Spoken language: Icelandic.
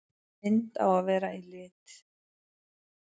Mynd á að vera í lit.